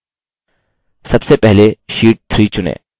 सबसे पहले sheet 3 चुनें